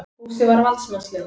Fúsi var valdsmannslegur.